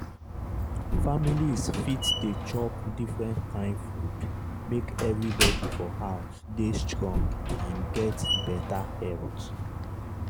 families fit dey chop different kain food make everybody for house dey strong and get better health.